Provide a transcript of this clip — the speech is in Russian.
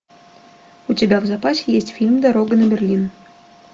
у тебя в запасе есть фильм дорога на берлин